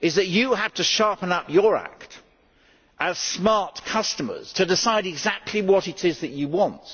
but that they have to sharpen up their act, as smart customers, to decide exactly what it is that they want.